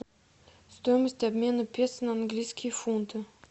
стоимость обмена песо на английские фунты